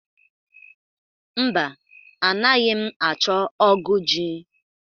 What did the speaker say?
Mba, anaghị m achọ ógụ̀ ji.